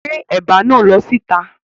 Gbé ẹ̀bà náà lọ síta!